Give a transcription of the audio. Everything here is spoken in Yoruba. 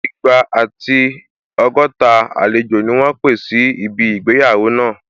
Igba àti ọgọ́ta àlejò ni wọ́n pé síbi ìgbéyàwó náà